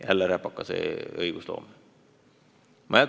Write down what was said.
Jälle räpakas õigusloome!